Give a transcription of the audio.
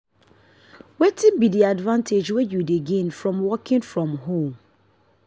wetin be di advantage wey you dey gain for working from home?